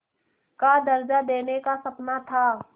का दर्ज़ा देने का सपना था